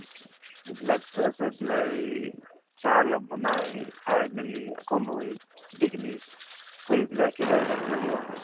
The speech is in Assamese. সিবিলাক হৈ পেলাই চাহ অলপ বনাই খাই মেলি আকৌ লৈ গোটেইখিনি কৰি পেলাই একেবাৰে যাবলগীয়া হয়